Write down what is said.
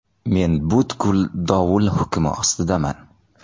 Men butkul dovul hukmi ostidaman.